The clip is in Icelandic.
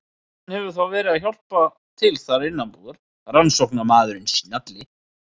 Hann hefur þá verið að hjálpa til þar innanbúðar, rannsóknarmaðurinn snjalli.